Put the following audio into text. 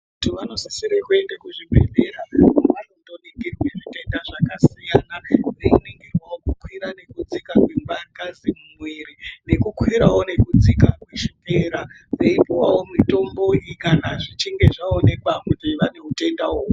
Vantu vanosisisre kuende kuzvibhedhlera kwavanondoningirwe zvitenda zvakasiyana veiningirwawo kukwira nekudzika kwengazi mumwiri nekukwirawo nekudzika kweshukera veipuwawo mitombo iyi kana zvichinge zvaaonekwa vane utenda uhwohwo.